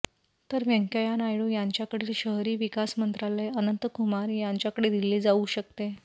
तर व्यंकय्या नायडू यांच्याकडील शहरी विकास मंत्रालय अनंतकुमार यांच्याकडे दिले जाऊ शकते